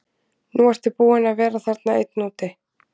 Nú ertu búinn að vera þarna einn úti.